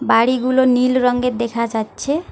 বাড়িগুলো নীল রংগের দেখা যাচ্ছে।